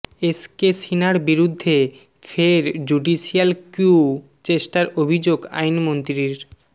S K সিনহার বিরুদ্ধে ফের জুডিশিয়াল ক্যু চেষ্টার অভিযোগ আইনমন্ত্রীর